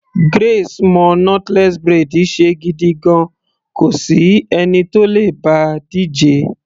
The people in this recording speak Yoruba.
Grace mo knotless braid ṣe gidigan, kò sí ẹni tó le bá a díje.